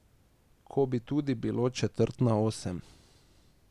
Ko bi tudi bilo četrt na osem.